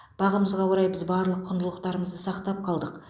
бағымызға орай біз барлық құндылықтарымызды сақтап қалдық